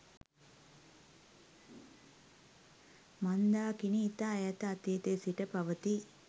මන්දාකිණි ඉතා ඈත අතීතයේ සිට පවතියි